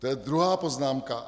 To je druhá poznámka.